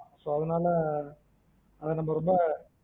அதுனால அது ரொம்ப இப்பம் பரவாயில்ல sir